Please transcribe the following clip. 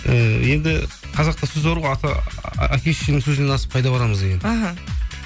ііі енді қазақта сөз бар ғой әке шешенің сөзінен асып қайда барамыз деген іхі